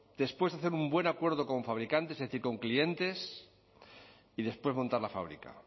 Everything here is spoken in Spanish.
después de hacer un buen acuerdo con fabricantes es decir con clientes y después montar la fábrica